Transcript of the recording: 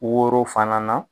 Woro fana na